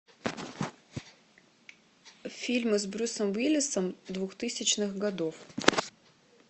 фильмы с брюсом уиллисом двухтысячных годов